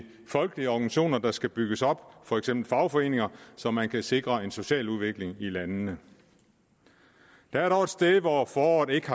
folkelige organisationer der skal bygges op for eksempel fagforeninger så man kan sikre en social udvikling i landene der er dog et sted hvor foråret ikke